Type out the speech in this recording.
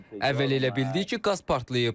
Əvvəl elə bildik ki, qaz partlayıb.